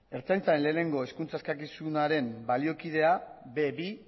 ertzaintzaren batgarrena hizkuntza eskakizunaren baliokidea be bi